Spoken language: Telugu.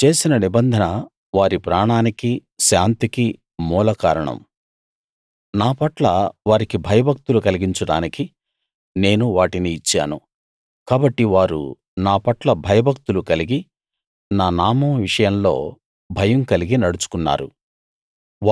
నేను చేసిన నిబంధన వారి ప్రాణానికి శాంతికి మూల కారణం నా పట్ల వారికి భయభక్తులు కలిగించడానికి నేను వాటిని ఇచ్చాను కాబట్టి వారు నా పట్ల భయభక్తులు కలిగి నా నామం విషయంలో భయం కలిగి నడుచుకున్నారు